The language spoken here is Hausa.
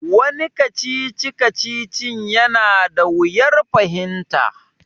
Wani kacici-kacicin ya na da wuyar fahimta